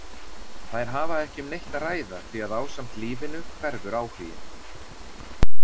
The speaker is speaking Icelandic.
Þær hafa ekki um neitt að ræða því að ásamt lífinu hverfur áhuginn.